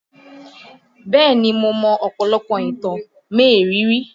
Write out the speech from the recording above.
Bẹ́ẹ̀ni mo mọ ọ̀pọ̀lọpọ̀ ìtàn mériìírí